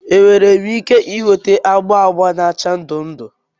Enwere m ike ị nweta agba agba na acha ndụ ndụ?